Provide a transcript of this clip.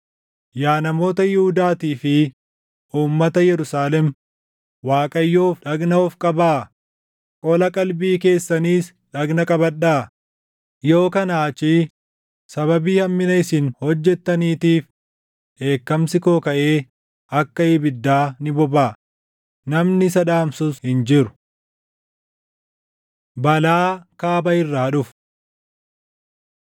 Yaa namoota Yihuudaatii fi uummata Yerusaalem Waaqayyoof dhagna of qabaa; qola qalbii keessaniis dhagna qabadhaa; yoo kanaa achii sababii hammina isin hojjetaniitiif dheekkamsi koo kaʼee akka ibiddaa ni bobaʼa; namni isa dhaamsus hin jiru. Balaa Kaaba irraa Dhufu